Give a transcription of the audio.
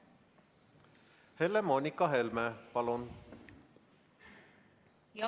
Helle-Moonika Helme, palun!